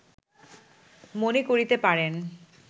মনে করিতে পারেন